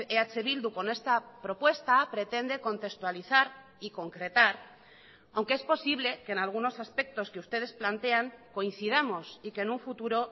eh bildu con esta propuesta pretende contextualizar y concretar aunque es posible que en algunos aspectos que ustedes plantean coincidamos y que en un futuro